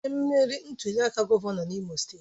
Onye meriri ntuliaka gọvanọ n'Imo steeti?